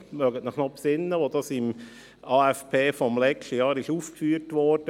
Sie erinnern sich daran, als dieses Thema im vergangenen Jahr im AFP aufgeführt wurde.